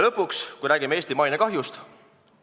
Lõpuks räägime mainekahjust.